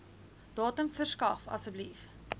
datum verskaf asseblief